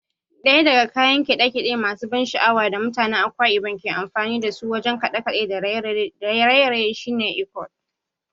Ɗaya daga kayan kiɗa masu ban sha'awa da mutanen Akwa Ibom ke amfani wajen kaɗe-kaɗe da raye-raye shine Iquot.